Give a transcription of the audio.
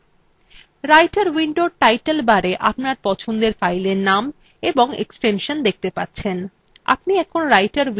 writer window title barএ আপনার পছন্দের ফাইলএর নাম এবং এক্সটেনশন দেখতে পাচ্ছেন